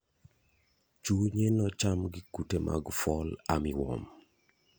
Chunye nocham gi kute mag fall armywarm.